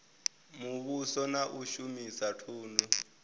muvhuso na u shumisa thundu